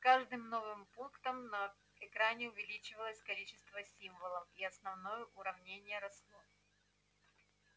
с каждым новым пунктом на экране увеличивалось количество символов и основное уравнение росло